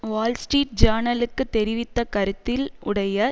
Wall Street ஜேர்னலுக்கு தெரிவித்த கருத்தில் உடைய